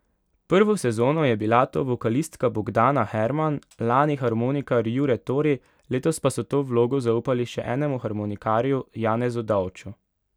Prvo sezono je bila to vokalistka Bogdana Herman, lani harmonikar Jure Tori, letos pa so to vlogo zaupali še enemu harmonikarju, Janezu Dovču.